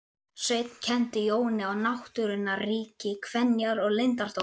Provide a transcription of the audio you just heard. Sveinn kenndi Jóni á náttúrunnar ríki, kenjar og leyndardóma.